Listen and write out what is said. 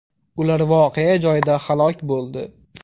Ular voqea joyida halok bo‘ldi.